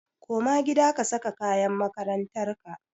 Koma gida ka saka kayan makarantar ka!